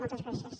moltes gràcies